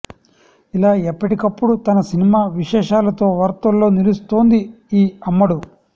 ఇలా ఎప్పటికప్పుడు తన సినిమా విశేషాలతో వార్తల్లో నిలుస్తోంది ఈ అమ్మడు